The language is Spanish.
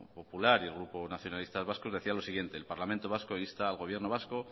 popular y el grupo nacionalistas vascos decía lo siguiente el parlamento vasco insta al gobierno vasco